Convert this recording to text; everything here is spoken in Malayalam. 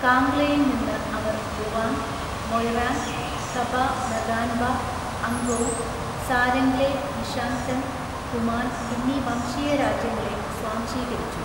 കാംഗ്ലയിൽ നിന്ന് അവർ ലുവാങ്, മൊയ്‌റാംഗ്, ഖബ നഗാൻബ, അംഗോം, സാരംഗ്ലെ യ്‌ഷാങ്‌തെം, ഖുമാൻ എന്നീ വംശീയ രാജ്യങ്ങളെ സ്വാംശീകരിച്ചു.